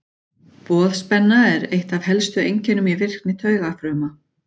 Boðspenna er eitt af helstu einkennum í virkni taugafrumna.